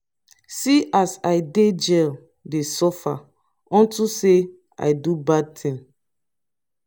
see as i dey jail dey suffer unto say i do bad thing